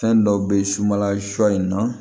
Fɛn dɔw bɛ sumala sɔ in na